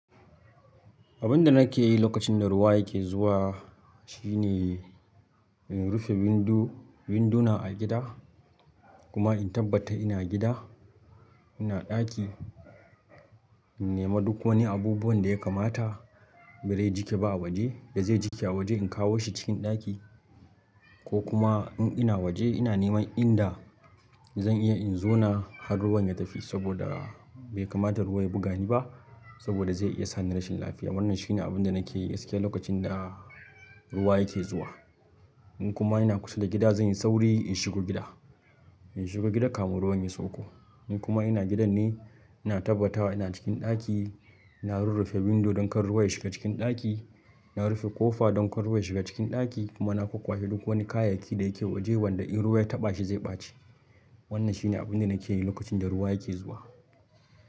Abin da nake yi lokacin da ruwa yake zuwa shine, in rufe windo- winduna a gida kuma in tabbata ina gida, ina ɗaki. In nema duk wani abubuwan da ya kamata, bare jiƙe ba a waje, da zai jiƙe a waje in kawo shi cikin ɗaki ko kuma in ina waje ina neman inda zan iya in zauna har ruwan ya tafi saboda bai kamata ruwa ya buga ni ba saboda zai iya sa ni rashin lafiya. Wannan shine abunda nakeyi gaskiya lokacin da ruwa yake zuwa in kuma ina kusa da gida zan yi sauri in shigo gida. In shiga gida kafin ruwan ya sauko. In kuma ina gidan ne, ina tabbata wa ina cikin ɗaki, ina rurrufe windo don kar ruwa ya shiga cikin ɗaki. Na rufe ƙofa don kar ruwa ya shiga cikin ɗaki kuma na kwakkwashe duk wani kayayyaki da yake waje wanda in ruwa ya taɓa shi zai ɓace. Wannan shi ne abin da nake yi lokacin da ruwa yake zuwa.